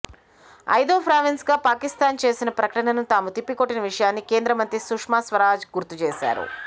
ఐదో ప్రావిన్స్ గా పాకిస్థాన్ చేసిన ప్రకటనను తాము తిప్పికొట్టిన విషయాన్ని కేంద్ర మంత్రి సుష్మాస్వరాజ్ గుర్తు చేశారు